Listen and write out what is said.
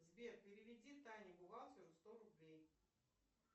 сбер переведи тане бухгалтеру сто рублей